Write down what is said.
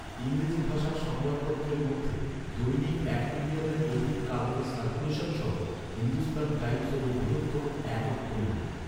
ইংরেজি ভাষার সংবাদপত্রের মধ্যে দৈনিক এক মিলিয়নের অধিক কাগজের সার্কুলেশন সহ হিন্দুস্তান টাইম্‌স হল বৃহত্তম একক দৈনিক।